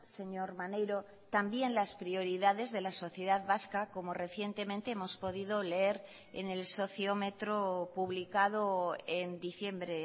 señor maneiro también las prioridades de la sociedad vasca como recientemente hemos podido leer en el sociómetro publicado en diciembre